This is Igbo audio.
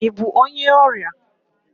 Ị bụ onye ọrịa?